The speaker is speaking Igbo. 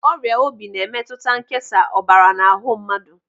Ọrịa obi na-emetụta nkesa ọbara n'ahụ mmadụ.